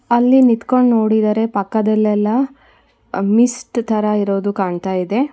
ಅಲ್ಲಿ ನಿತ್ಕೊಂಡ್ ನೋಡಿದರೆ ಪಕ್ಕದಲ್ಲೆಲ್ಲ ಆ ಮಿಸ್ಟ್ ತರ ಇರೋದು ಕಾಣ್ತಾ ಇದೆ.